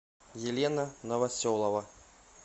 елена новоселова